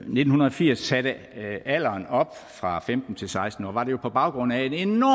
nitten firs satte alderen op fra femten til seksten år var det jo på baggrund af en enorm